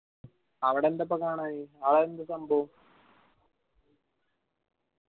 അവിടെ എന്താപ്പാ കാണാന് അത് എന്ത് സംഭവോ